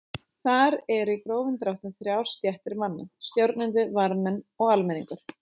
Þar eru í grófum dráttum þrjár stéttir manna: Stjórnendur, varðmenn og almenningur.